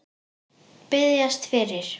Biðjast fyrir?